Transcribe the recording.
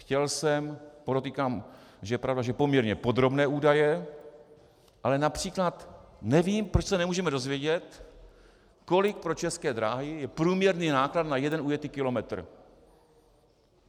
Chtěl jsem, podotýkám, že je pravda, že poměrně podrobné údaje, ale například nevím, proč se nemůžeme dozvědět, kolik pro České dráhy je průměrný náklad na jeden ujetý kilometr.